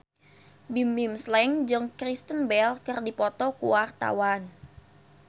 Bimbim Slank jeung Kristen Bell keur dipoto ku wartawan